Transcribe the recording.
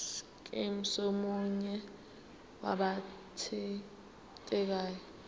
scheme somunye wabathintekayo